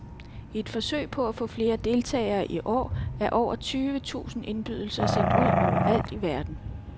I et forsøg på at få flere deltagere i år er over tyve tusind indbydelser sendt ud overalt i verden.